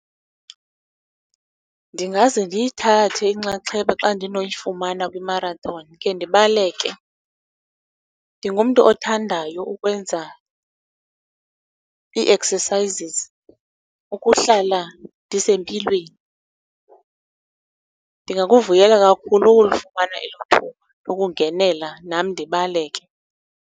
Ndingaze ndiyithathe inxaxheba xa ndinoyifumana kwi-marathon, khe ndibaleke. Ndingumntu othandayo ukwenza ii-exercises ukuhlala ndisempilweni. Ndingakuvuyela kakhulu ukulifumana elo thuba lokungenela nam ndibaleke.